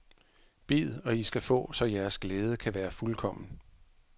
Bed, og i skal få, så jeres glæde kan være fuldkommen.